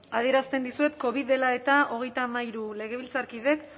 adierazten dizuet covid dela eta hogeita hamairu legebiltzarkidek